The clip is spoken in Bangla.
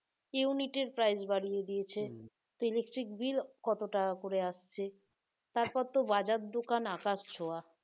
unit এর price বাড়িয়ে দিয়েছে electric bill কত টাকা করে আসছে বাজার দোকান আকাশছোঁয়া